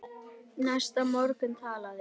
Næsta morgun talaði